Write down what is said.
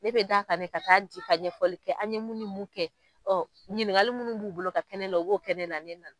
Ne bɛ da kan ne ka taa di ka ɲɛfɔli kɛ an ye mununi mun kɛ, ɔ ɲininkali munnu b'u bolo ka kɛ ne na u b'o kɛ ne na.